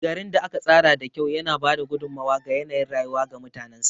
Garin da aka tsara da kyau yana ba da gudummawa ga yanayin rayuwa ga mutanensa.